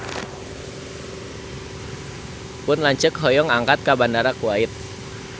Pun lanceuk hoyong angkat ka Bandara Kuwait